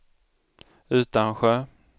Utansjö